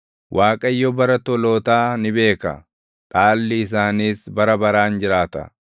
Waaqayyo bara tolootaa ni beeka; dhaalli isaaniis bara baraan jiraata.